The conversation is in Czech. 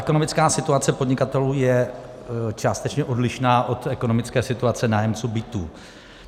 Ekonomická situace podnikatelů je částečně odlišná od ekonomické situace nájemců bytů.